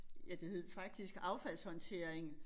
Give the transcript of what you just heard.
Ja det hed faktisk affaldshåndtering